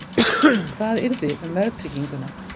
Hvað yrði um verðtrygginguna?